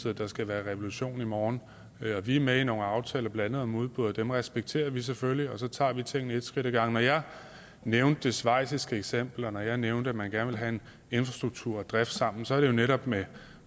at der skal være revolution i morgen vi er med i nogle aftaler blandt andet om udbud og dem respekterer vi selvfølgelig og så tager vi tingene et skridt ad gangen når jeg nævnte det schweiziske eksempel og når jeg nævnte at man gerne vil have infrastruktur og drift sammen er det jo netop med